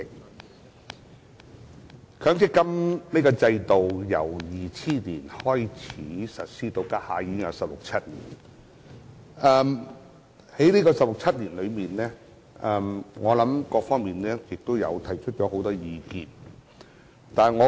強制性公積金制度自2000年開始實施，至今已有十六七年，其間各方面都提出了很多意見。